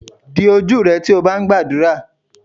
Di ojú rẹ tí o bá ń gbàdúrà.